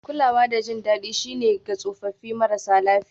Kulawa da jin daɗi shine ga tsofaffi marasa lafiya